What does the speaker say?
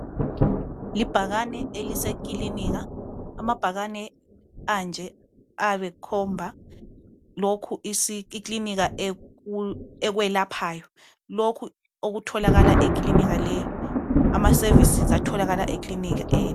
Libhakane elisekilinika, amabhakane anje abekhomba lokhu ikilinika ekwelaphayo lokhu okutholakala ekilinika leyo, amasevisizi atholakala ekilinika leyo.